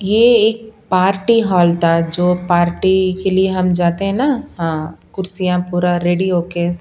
ये एक party hall था जो पार्टी के लिए हम जाते है ना हां कुर्सियां पूरा रेडी होके--